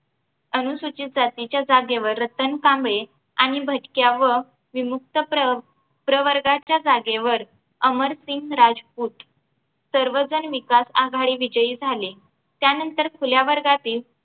अनुसूचित जातीच्या जागेवर रतन कांबळे आणि भटक्या व विमुक्त प्र प्रवर्गाच्या जागेवर अमरसिंग राजपूत सर्वजण विकास आघाडी विजयी झाले. त्यानंतर खुल्या वर्गातील